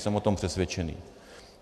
Jsem o tom přesvědčený.